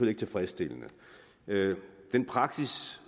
ikke tilfredsstillende den praksis